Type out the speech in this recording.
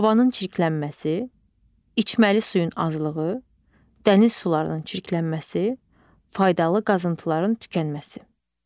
Havanın çirklənməsi, içməli suyun azlığı, dəniz sularının çirklənməsi, faydalı qazıntıların tükənməsi.